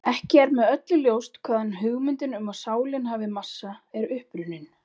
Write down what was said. Ekki er með öllu ljóst hvaðan hugmyndin um að sálin hafi massa er upprunnin.